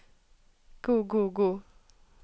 god god god